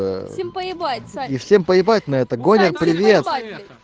всем поебать и всем поебать на этот огонь привет привет